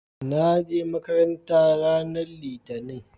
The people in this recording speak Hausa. naje makaranta ranar litani